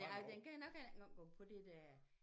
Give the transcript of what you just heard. Ej den kan nok heller ikke engang gå på dit øh